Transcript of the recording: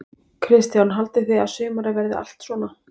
Kristján: Haldið þið að sumarið verið allt svona?